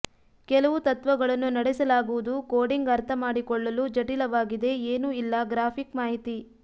ಕೆಲವು ತತ್ವಗಳನ್ನು ನಡೆಸಲಾಗುವುದು ಕೋಡಿಂಗ್ ಅರ್ಥ ಮಾಡಿಕೊಳ್ಳಲು ಜಟಿಲವಾಗಿದೆ ಏನೂ ಇಲ್ಲ ಗ್ರಾಫಿಕ್ ಮಾಹಿತಿ